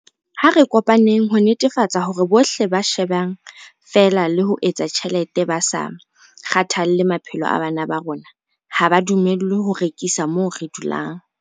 Ha re kopaneng ho netefatsa hore bohle ba shebaneng feela le ho etsa tjhelete ba sa kgathalle maphelo a bana ba rona ha ba dumellwe ho rekisa moo re dulang.